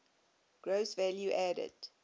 gross value added